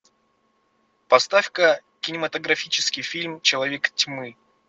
поставь ка кинематографический фильм человек тьмы